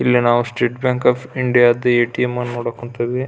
ಇಲ್ಲಿ ನಾವು state bank of India ದ ಎ. T .M. ನ್ನು ನೋಡಕೆ ಕುಂತೀವಿ.